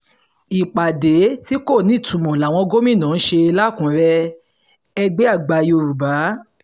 ìpàdé tí kò nítumọ̀ làwọn gómìnà ṣe lakunure -ẹgbẹ́ àgbà yorùbá